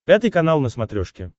пятый канал на смотрешке